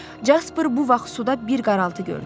Caper bu vaxt suda bir qaraltı gördü.